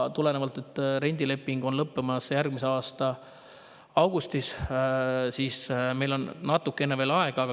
Tulenevalt sellest, et rendileping lõppeb järgmise aasta augustis, on meil veel natukene aega.